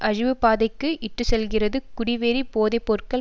அழிவுப்பாதைக்கு இட்டு செல்கிறது குடிவெறி போதை பொருட்கள்